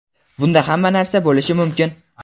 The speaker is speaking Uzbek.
Bunda hamma narsa bo‘lishi mumkin.